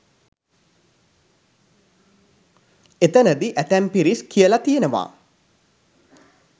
එතනදි ඇතැම් පිරිස් කියලා තියෙනවා